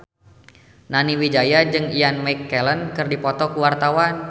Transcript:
Nani Wijaya jeung Ian McKellen keur dipoto ku wartawan